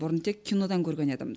бұрын тек кинодан көрген едім